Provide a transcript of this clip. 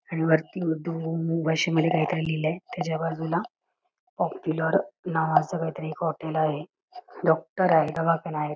आणि वरती उर्दू भाषेमध्ये काहीतरी लिहलंय त्याच्या बाजूला पॉप्युलर नावाचं हॉटेल आहे डॉक्टर आहेत दवाखाना आहेत.